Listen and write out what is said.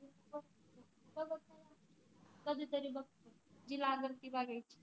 कधीतरी बघते जी लागलं ती लागायची